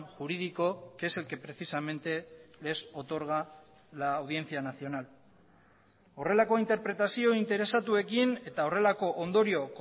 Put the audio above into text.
jurídico que es el que precisamente les otorga la audiencia nacional horrelako interpretazio interesatuekin eta horrelako ondorio